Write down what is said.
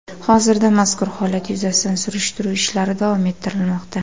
Hozirda mazkur holat yuzasidan surishtiruv ishlari davom ettirilmoqda.